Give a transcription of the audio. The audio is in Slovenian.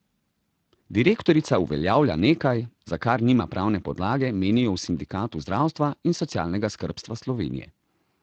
Direktorica uveljavlja nekaj, za kar nima pravne podlage, menijo v Sindikatu zdravstva in socialnega skrbstva Slovenije.